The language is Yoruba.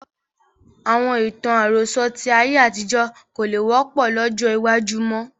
Àwọn ìtàn àròsọ̀ tí ayé àtijọ́ kò lè wọ́pọ̀ lọ́jọ́ iwájú mọ́